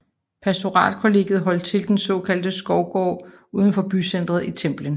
Pastoralkollegiet holdt til i den såkaldte Skovgård udenfor bycenteret i Templin